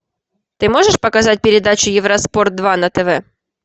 ты можешь показать передачу евроспорт два на тв